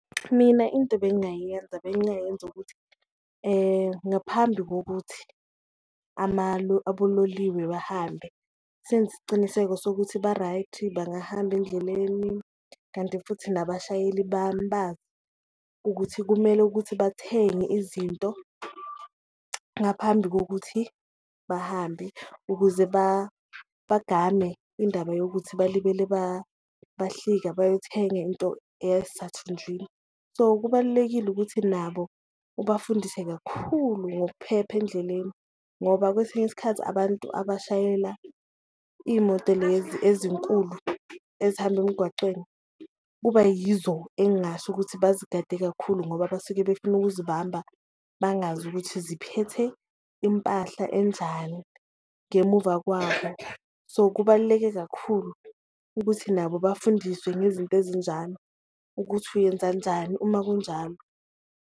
Mina into ebengayiyenza bengayenza ukuthi ngaphambi kokuthi abololiwe bahambe senze isiciniseko sokuthi ba-right, bangahamba endleleni kanti futhi nabashayeli ukuthi kumele ukuthi bathenge izinto ngaphambi kokuthi bahambe ukuze bagame indaba yokuthi balibele bahlika bayothenga into eyasathunjini. So, kubalulekile ukuthi nabo ubafundise kakhulu ngokuphepha endleleni, ngoba kwesinye isikhathi abantu abashayela iyimoto lezi ezinkulu ezihamba emgwacweni kuba yizo engasho ukuthi bazigade kakhulu, ngoba basuke befuna ukuzibamba bangazi ukuthi ziphethe impahla enjani ngemumva kwabo. So, kubaluleke kakhulu ukuthi nabo bafundiswe ngezinto ezinjalo ukuthi uyenza njani uma kunjalo.